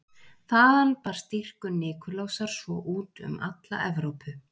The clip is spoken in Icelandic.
Þaðan barst dýrkun Nikulásar svo út um alla Evrópu.